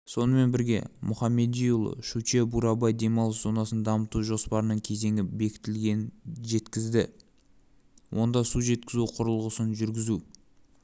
сонымен бірге мұхамедиұлы щучье-бурабай демалыс зонасын дамыту жоспарының кезеңі бекітілгенін жеткізді онда су жеткізу құрылысын жүргізу